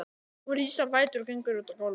Hún rís á fætur og gengur út á gólfið.